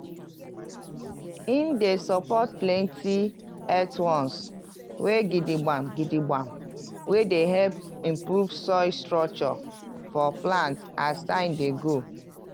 e dey support plenty earthworms wey gidigba gidigba wey dey help improve soil structure for plants as time dey go